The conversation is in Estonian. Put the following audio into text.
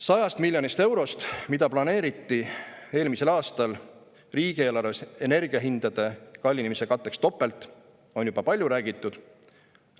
Sajast miljonist eurost, mida planeeriti eelmise aasta riigieelarves energiahindade kallinemise katteks topelt, on juba palju räägitud.